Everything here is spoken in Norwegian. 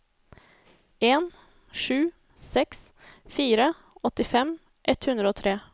en sju seks fire åttifem ett hundre og tre